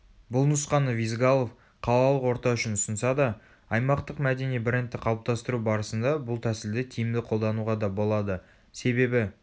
бұл нұсқаны визгалов қалалық орта үшін ұсынса да аймақтық мәдени брендті қалыптастыру барысында бұл тәсілді тиімді қолдануға да болады.себебі